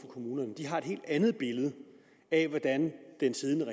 kommunerne har et helt andet billede af hvordan den siddende